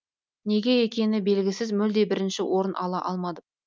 неге екені белгісіз мүлде бірінші орын ала алмадым